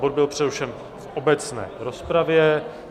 Bod byl přerušen v obecné rozpravě.